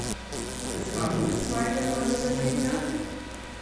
Se spomnite svojega prvega tvita?